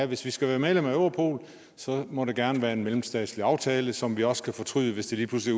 hvis vi skal være medlem af europol må det gerne være via en mellemstatslig aftale som vi også kan fortryde hvis det lige pludselig